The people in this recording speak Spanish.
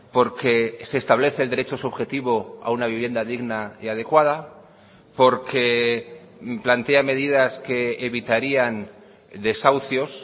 porque se establece el derecho subjetivo a una vivienda digna y adecuada porque plantea medidas que evitarían desahucios